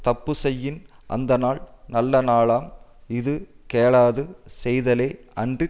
தப்பு செய்யின் அந்தநாள் நல்ல நாளாம் இது கேளாது செய்தலே அன்றித்